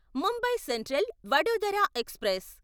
Mumbai central Vadodara express